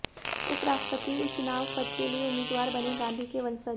उपराष्ट्रपति चुनाव पद के लिए उम्मीदवार बने गांधी के वंशज